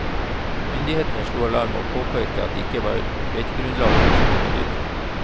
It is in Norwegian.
Myndighetene slo alarm, og påpekte at det ikke var beitegrunnlag for så mange dyr.